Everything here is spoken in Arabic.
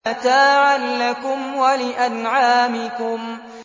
مَتَاعًا لَّكُمْ وَلِأَنْعَامِكُمْ